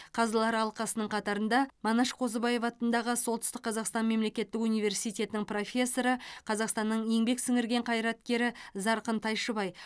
қазылар алқасының қатарында манаш қозыбаев атындағы солтүстік қазақстан мемлекеттік университетінің профессоры қазақстанның еңбек сіңірген қайраткері зарқын тайшыбай